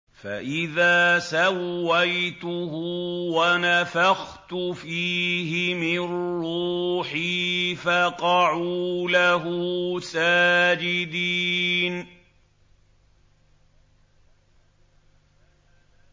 فَإِذَا سَوَّيْتُهُ وَنَفَخْتُ فِيهِ مِن رُّوحِي فَقَعُوا لَهُ سَاجِدِينَ